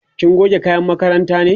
kina goge kayan makaranta ne?